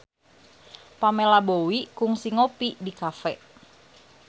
Pamela Bowie kungsi ngopi di cafe